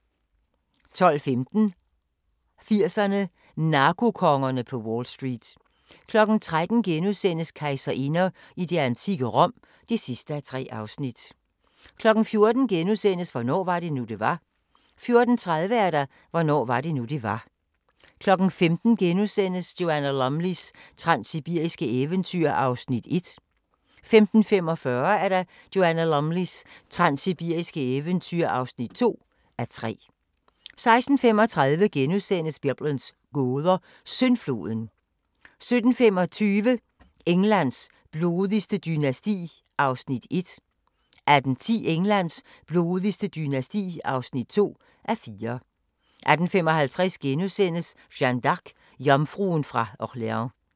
12:15: 80'erne: Narkokongerne på Wall Street 13:00: Kejserinder i det antikke Rom (3:3)* 14:00: Hvornår var det nu, det var? * 14:30: Hvornår var det nu, det var? 15:00: Joanna Lumleys transsibiriske eventyr (1:3)* 15:45: Joanna Lumleys transsibiriske eventyr (2:3) 16:35: Biblens gåder – Syndfloden * 17:25: Englands blodigste dynasti (1:4) 18:10: Englands blodigste dynasti (2:4) 18:55: Jeanne d'Arc – jomfruen fra Orleans *